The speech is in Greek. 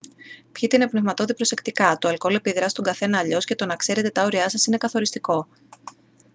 πιείτε οινοπνευματώδη προσεκτικά το αλκοόλ επιδρά στον καθένα αλλιώς και το να ξέρετε τα όριά σας είναι καθοριστικό